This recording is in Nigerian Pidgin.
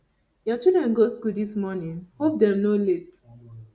your children go school this morning hope dem no late